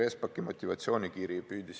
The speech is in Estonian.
Peeter Espaki motivatsioonikiri.